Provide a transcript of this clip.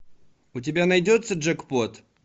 у тебя найдется джекпот